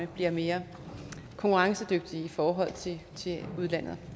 bliver mere konkurrencedygtige i forhold til udlandet